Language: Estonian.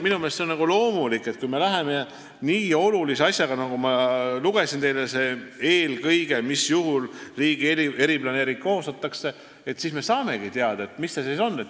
Minu meelest on see loomulik, et nii oluliste asjade puhul, nagu ma teile ette lugesin, riigi eriplaneering koostatakse, sest siis me saamegi teada, millega tegu on.